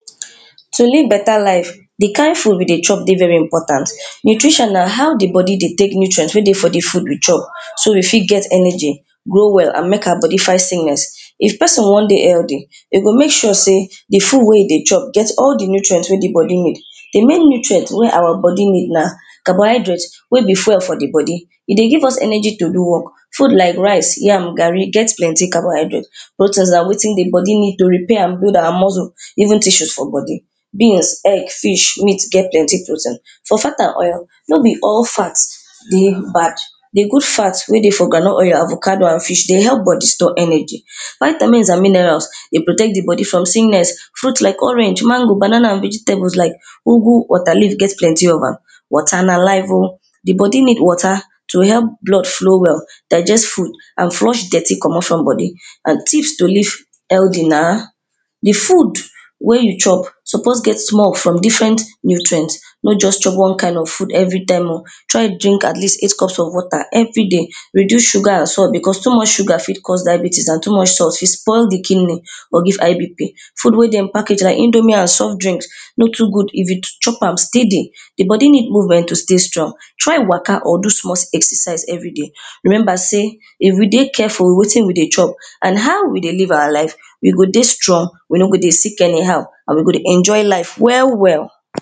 To live better life, di kind food wey dey chop dey very important. Nutrition na how di body dey take nutrient wey dey for di food we chop, so we fit get energy go well and make our body fghtt sickness. If person wan dey healthy E go make sure sey di food wey you dey chop get all di nutrient wey all di body need di main nutrient wey our body need na carbohydrate wey be fuel for di body E dey give us energy to do work. Food like rice, yam, gari get plenty carbohydrate Protein na wetin di body need oh to repair and build our muscle even tissues for body. Beans, egg meat, fish get plenty protein for fat and oil no be all fat dey bad. Di good fat wey dey for groundnut oil, avocado and fish dey help body store energy Vitamins and minerals dey protect di body from sickness. Fruits like orange, mango, banana vegetables like ugu, bitterleaf get plenty of am Water na life oh. Di body need water to help blood flow well, digest food and flush dirty comot from body and things to live healthy na di food wey you chop suppose get small from different nutrient, not just chop one kind of food every time oh try drink at least eight cups of water every day, reduce sugar and salt because too much sugar fit cause diabetes and too much salt fit spoil di kidney or high bp. Food wey dem package like indomie and soft drink no too good if you chop steady. Di body need nutrient to stay strong Try waka or do small exercise everyday. Remember sey if we dey careful with wetin we dey chop and how we dey live our life we go dey strong, we no go dey sick anyhow and we go dey enjoy life well well